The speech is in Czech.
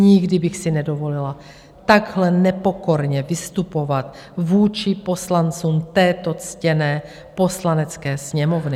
Nikdy bych si nedovolila takhle nepokorně vystupovat vůči poslancům této ctěné Poslanecké sněmovny.